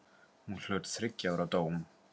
Hún hlaut þriggja ára dóm.